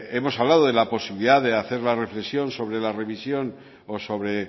hemos hablado de la posibilidad de hacer la reflexión sobre la revisión o sobre